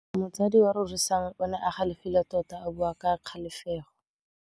Motsadi wa Rorisang o ne a galefile tota a bua ka kgajajegô.